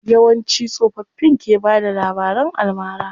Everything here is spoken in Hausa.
Yawanci tsofaffin ke bada labaran almara.